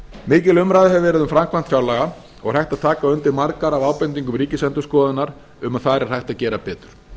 mikil umræða hefur verið um framkvæmd fjárlaga og er hægt að taka undir margar af ábendingum ríkisendurskoðunar um að þar er hægt að gera betur